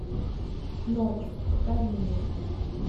ночь покажи мне